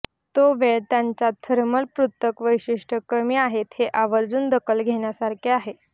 तो वेळ त्यांच्या थर्मल पृथक् वैशिष्ट्ये कमी आहेत हे आवर्जून दखल घेण्यासारखे आहे